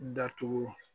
Datugu